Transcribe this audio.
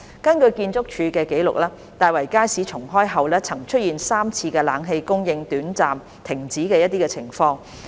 根據建築署的紀錄，大圍街市重開後曾出現3次冷氣供應短暫停止的情況。